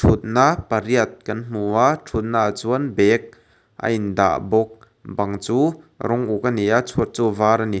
thutna pariat kan hmu a thutnaah chuan bag a in dah bawk bang chu rawng uk a ni a chhuat chu a var a ni.